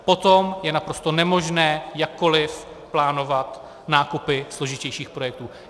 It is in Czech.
Potom je naprosto nemožné jakkoli plánovat nákupy složitějších projektů.